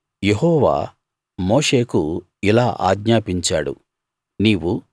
యెహోవా మోషేకు ఇలా ఆజ్ఞాపించాడు